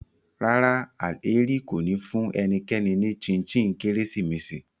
Rárá, Alheri ko ni fun enikeni ni chin chin Keresimesi